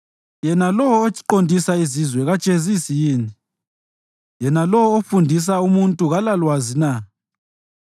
Yena lowo oqondisa izizwe kajezisi yini? Yena lowo ofundisa umuntu kalalwazi na?